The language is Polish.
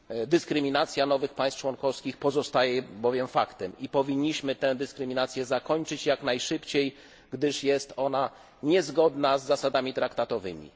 Dyskryminacja nowych państw członkowskich pozostaje bowiem faktem i powinniśmy tę dyskryminację zakończyć jak najszybciej, gdyż jest ona niezgodna z zasadami traktatowymi.